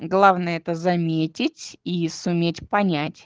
главное это заметить и суметь понять